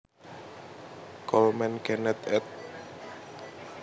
Coleman Kenneth ed